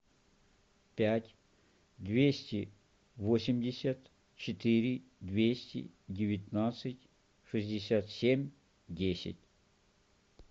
пять двести восемьдесят четыре двести девятнадцать шестьдесят семь десять